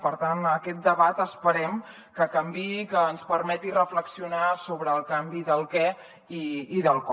per tant aquest debat esperem que canviï i que ens permeti reflexionar sobre el canvi del què i del com